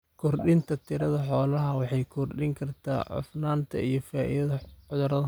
Kordhinta tirada xoolaha waxay kordhin kartaa cufnaanta iyo faafidda cudurrada.